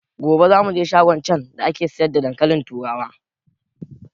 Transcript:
Gobe za muje shagon can da ake siyar da dankalin turawa